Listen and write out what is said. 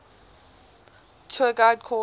tour guide course